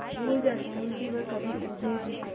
भूल जाते हैं कि वह कभी ऊबे भी थे